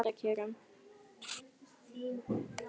heims í eymda kjörum